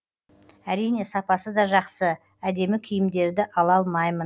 әрине сапасы да жақсы әдемі киімдерді ала алмаймын